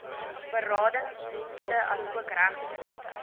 beradingsdienste asook regshulp